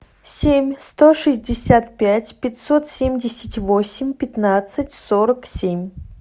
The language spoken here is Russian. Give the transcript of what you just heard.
семь сто шестьдесят пять пятьсот семьдесят восемь пятнадцать сорок семь